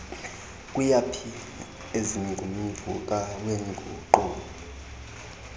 kuyaphi ezingumvuka weenguqu